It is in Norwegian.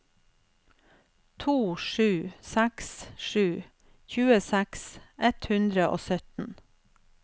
to sju seks sju tjueseks ett hundre og sytten